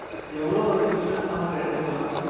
எவ்வளவு Insurance Amount எடுத்துக்கலாம்